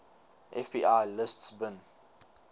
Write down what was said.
fbi lists bin